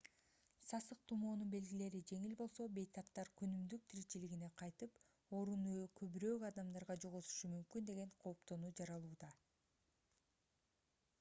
сасык тумоонун белгилери жеңил болсо бейтаптар күнүмдүк тиричилигине кайтып оорууну көбүрөөк адамдарга жугузушу мүмкүн деген кооптонуу жаралууда